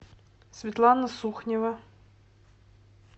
светлана сухнева